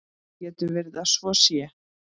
Getur verið að svo sé?